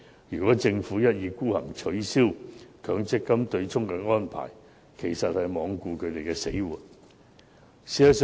如政府一意孤行，取消強積金的對沖安排，便是罔顧他們的死活。